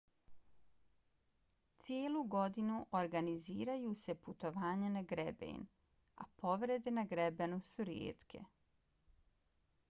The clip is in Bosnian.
cijelu godinu organiziraju se putovanja na greben a povrede na grebenu su rijetke